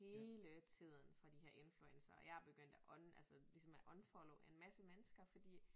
Hele tiden fra de her influencere og jeg er begyndt at altså ligesom at unfollowe en masse mennesker fordi